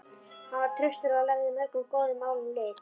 Hann var traustur og lagði mörgum góðum málum lið.